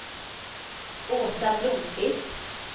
Åsa Blomqvist